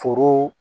Foro